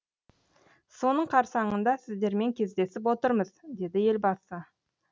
соның қарсаңында сіздермен кездесіп отырмыз деді елбасы